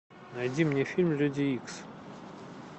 найди мне фильм люди икс